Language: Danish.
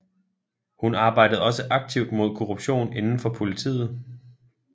Hun arbejdede også aktivt mod korruption inden for politiet